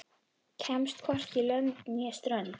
Kemst hvorki lönd né strönd.